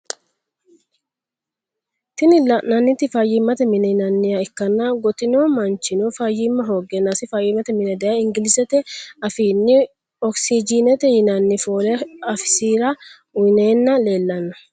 Tini lananniti fayimate mine yinaniha ikana gotino manchino fayima hogenasi fayimate mine daye engilishete afini oxygente yinani folle afisira uyinana lelano.